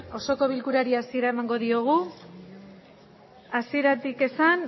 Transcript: osoko bilkurari hasiera emango diogu hasieratik esan